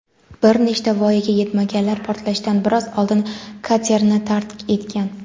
bir nechta voyaga yetmaganlar portlashdan biroz oldin katerni tark etgan.